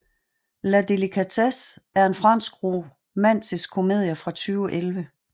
La Délicatesse er en fransk romantisk komedie fra 2011